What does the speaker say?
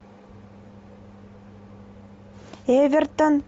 эвертон